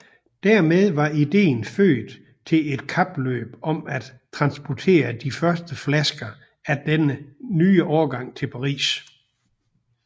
Dermed var ideen født til et kapløb om at transportere de første flasker af den nye årgang til Paris